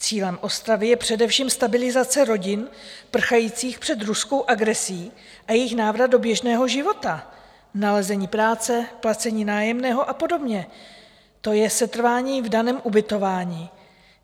Cílem Ostravy je především stabilizace rodin prchajících před ruskou agresí a jejich návrat do běžného života: nalezení práce, placení nájemného a podobně, to je setrvání v daném ubytování.